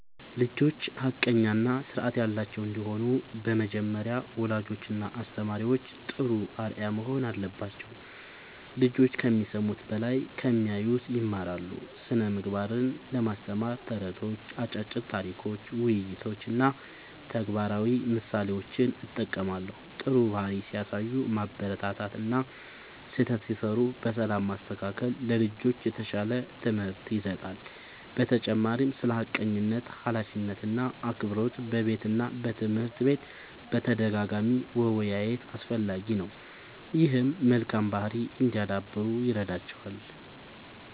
ልጆች ሐቀኛ እና ስርዓት ያላቸው እንዲሆኑ በመጀመሪያ ወላጆችና አስተማሪዎች ጥሩ አርአያ መሆን አለባቸው። ልጆች ከሚሰሙት በላይ ከሚያዩት ይማራሉ። ስነ ምግባርን ለማስተማር ተረቶች፣ አጫጭር ታሪኮች፣ ውይይቶች እና ተግባራዊ ምሳሌዎችን እጠቀማለሁ። ጥሩ ባህሪ ሲያሳዩ ማበረታታት እና ስህተት ሲሠሩ በሰላም ማስተካከል ለልጆች የተሻለ ትምህርት ይሰጣል። በተጨማሪም ስለ ሐቀኝነት፣ ኃላፊነት እና አክብሮት በቤትና በትምህርት ቤት በተደጋጋሚ መወያየት አስፈላጊ ነው። ይህም መልካም ባህሪ እንዲያዳብሩ ይረዳቸዋል።